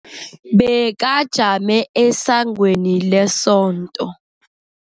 Bekajame esangweni lesonto.